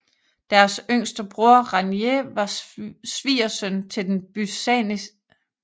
Deres yngste bror Ranier var svigersøn til den byzantinske kejser Manuel 1